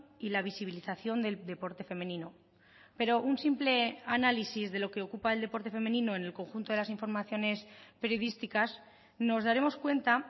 y la visibilización del deporte femenino pero un simple análisis de lo que ocupa el deporte femenino en el conjunto de las informaciones periodísticas nos daremos cuenta